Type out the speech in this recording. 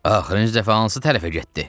Axırıncı dəfə hansı tərəfə getdi?